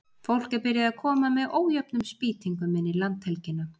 Fólk er byrjað að koma með ójöfnum spýtingum inn í landhelgina.